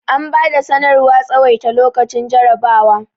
an bada sanarwar tsawaita lokacin jarrabawa